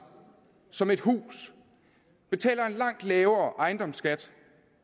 som et hus betaler en langt lavere ejendomsskat